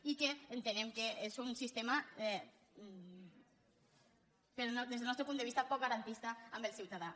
i entenem que és un sistema des del nostre punt de vista poc garantista amb el ciutadà